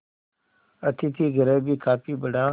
अतिथिगृह भी काफी बड़ा